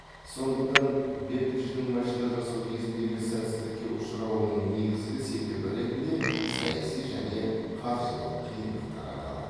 сондықтан бэббидждің машина жасау кезіндегі сәтсіздікке ұшырауының негізгі себебі ретінде саяси және қаржылық қиындықтар аталады